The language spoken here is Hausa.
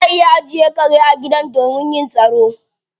Ana iya ajiye kare a gidan domin yin tsaro